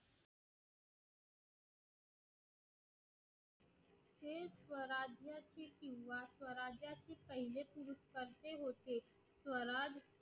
पहिले पुरुष अगदी होते स्वराज